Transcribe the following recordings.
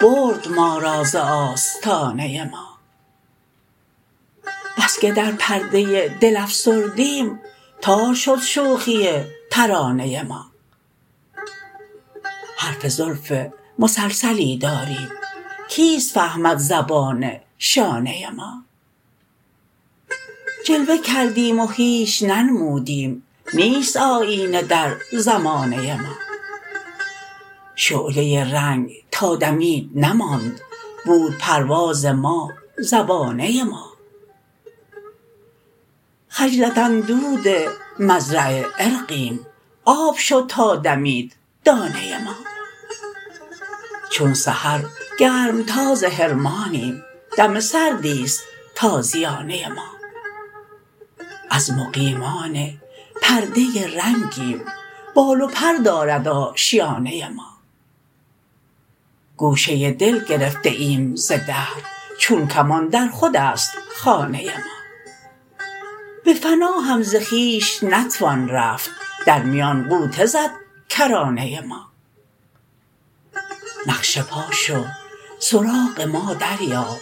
برد ما را زآستانه ما بسکه در پرده دل افسردیم تار شد شوخی ترانه ما حرف زلف مسلسلی داریم کیست فهمد زبان شانه ما جلوه کردیم و هیچ ننمودیم نیست آیینه در زمانه ما شعله رنگ تا دمید نماند بود پرواز ما زبانه ما خجلت اندود مزرع عرقیم آب شد تا دمید دانه ما چون سحرگرمتاز حرمانیم دم سردیست تازیانه ما از مقیمان پرده رنگیم بال و پر دارد آشیانه ما گوشه دل گرفته ایم ز دهر چون کمان درخود ست خانه ما به فنا هم زخویش نتوان رفت در میان غوطه زدکرانه ما نقش پا شو سراغ ما دریاب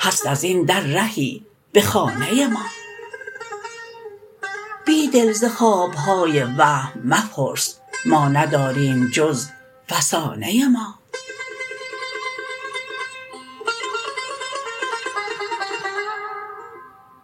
هست ازین در رهی به خانه ما بیدل ز خوابهای وهم مپرس ما نداریم جز فسانه ما